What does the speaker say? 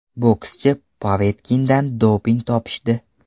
Bokschi Povetkindan doping topishdi.